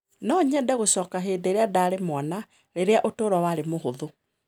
No nyende gũcoka hĩndĩ ĩrĩa ndaarĩ mwana, rĩrĩa ũtũũro warĩ mũhũthũ.